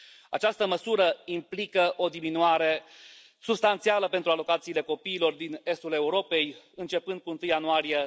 Această măsură implică o diminuare substanțială pentru alocațiile copiilor din estul Europei începând cu 1 ianuarie